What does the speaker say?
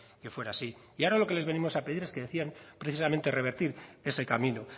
que fuera así y ahora lo que les venimos a pedir es que decidan precisamente revertir ese camino